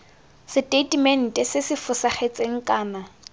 seteitemente se se fosagetseng kana